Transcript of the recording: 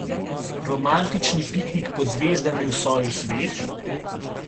Romantični piknik pod zvezdami v soju sveč?